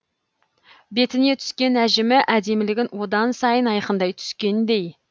бетіне түскен әжімі әдемілігін одан сайын айқындай түскендей